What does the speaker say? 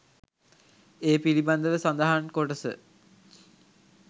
ඒ පිළිබඳව සඳහන් කොටස